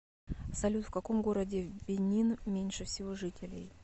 салют в каком городе в бенин меньше всего жителей